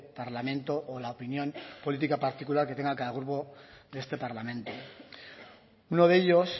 parlamento o la opinión política particular que tenga cada grupo de este parlamento uno de ellos